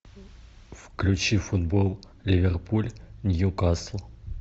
включи футбол ливерпуль ньюкасл